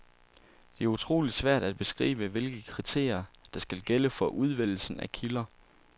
Det er utroligt svært at beskrive, hvilke kriterier, der skal gælde for udvælgelsen af kilder.